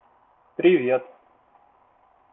привет